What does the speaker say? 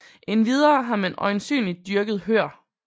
Endvidere har man øjensynligt dyrket hør